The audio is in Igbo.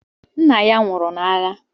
Nna ya nwụrụ n’agha